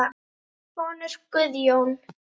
Þinn sonur Guðjón.